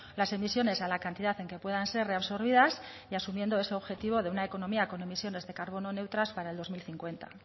las emisiones a la cantidad en que puedan ser reabsorbidas y asumiendo ese objetivo de una economía con emisiones de carbono neutras para el dos mil cincuenta